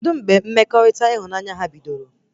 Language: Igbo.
Kedụ mgbe mmekọrịta ịhụnanya ha bidoro?